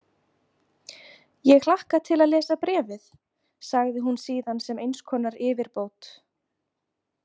Ég hlakka til að lesa bréfið, sagði hún síðan sem eins konar yfirbót.